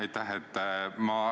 Aitäh!